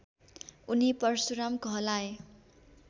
उनी परशुराम कहलाए